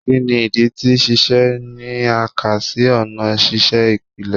Kini idi ti sise ni a ka si ọna sise ipilẹ?